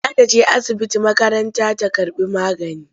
Za ta je asibiti makaranta ta karɓi magani.